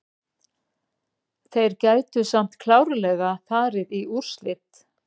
Þeir gætu samt klárlega farið í úrslit.